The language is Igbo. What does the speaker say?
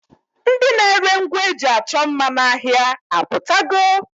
Ndi na-ere ngwa e ji achọ mma n'ahịa apụtago?